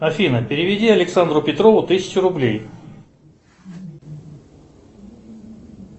афина переведи александру петрову тысячу рублей